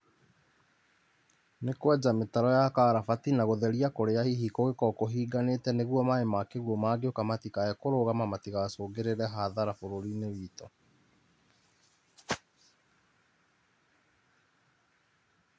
Nĩ kwenja mĩtaro ya karabati na gũtheria kũrĩa hihi kũngĩkorwo kũhingĩkanĩte nĩguo maĩ ma kĩguo mangĩũka matikae kũrũgama matigacũngĩrĩre hathara bũrũri-inĩ witũ.